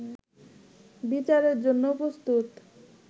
বিচারের জন্য প্রস্তুত